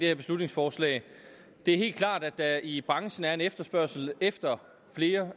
her beslutningsforslag det er helt klart at der i branchen er en efterspørgsel efter flere